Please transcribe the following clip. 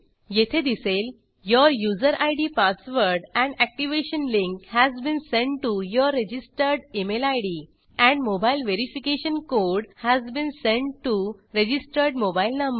येथे दिसेल your user ID password and activation link has been send to your registered email ID and mobile verification code has been send to registered mobile number